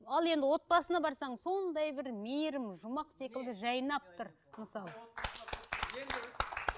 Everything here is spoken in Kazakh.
ал енді отбасына барсаң сондай бір мейірім жұмақ секілді жайнап тұр мысалы